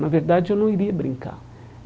Na verdade, eu não iria brincar.